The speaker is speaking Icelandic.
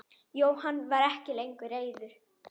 Jóhann var ekki lengur reiður.